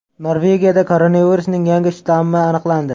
Norvegiyada koronavirusning yangi shtammi aniqlandi.